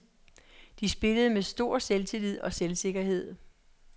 De spillede med stor selvtillid og selvsikkerhed.